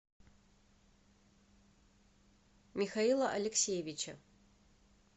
михаила алексеевича